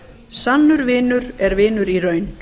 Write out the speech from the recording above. sannur vinur er vinur í raun